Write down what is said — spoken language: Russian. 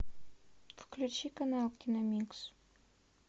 включи канал киномикс